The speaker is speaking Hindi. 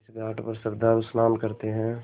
इस घाट पर श्रद्धालु स्नान करते हैं